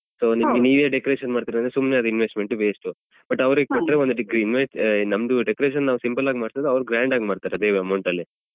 So ನಿಮ್ಗೆ ನೀವೇ decoration ಮಾಡ್ತಿರಾದ್ರೆ ಸುಮ್ನೆ ಅದು investment waste ಉ but ಅವ್ರಿಗೆ ಕೊಟ್ರೆ ಒಂದು invoice ನಮ್ದು decoration ನಾವ್ simple ಆಗಿ ಮಾಡ್ಸಿದ್ರೆ ಅವರು grand ಮಾಡ್ತಾರೆ ಅದೇ amount ಅಲ್ಲಿ